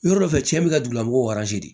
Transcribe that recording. Yɔrɔ dɔ fɛ cɛn bɛ ka dugula mɔgɔw